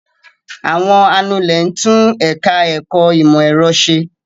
Àwọn anulẹ̀ tún ẹ̀ka-ẹ̀kọ́ ìmọ̀-ẹ̀rọ ṣe.